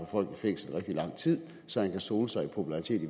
folk i fængsel i rigtig lang tid så han kan sole sig i popularitet